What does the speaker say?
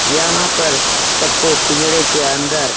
यहाँ पर सबको पिंजड़े की अंदर --